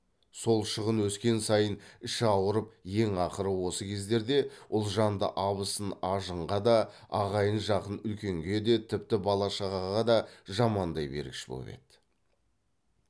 сол шығын өскен сайын іші ауырып ең ақыры осы кездерде ұлжанды абысын ажынға да ағайын жақын үлкенге де тіпті бала шағаға да жамандай бергіш боп еді